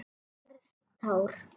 Verð tár.